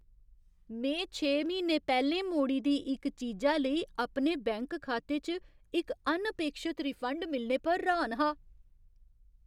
में छे म्हीने पैह्‌लें मोड़ी दी इक चीजा लेई अपने बैंक खाते च इक अनअपेक्षत रिफंड मिलने पर र्हान हा।